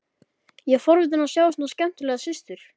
Ég er forvitinn að sjá svona skemmtilega systur.